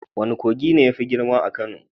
Wane kogi ne yafi girma a Kano?